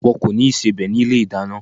Wọ́n kò ní ìsebẹ̀ ní ilé-ìdáná.